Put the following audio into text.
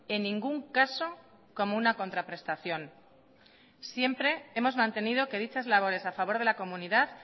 en ningún caso como una contraprestación siempre hemos mantenido que dichas labores a favor de la comunidad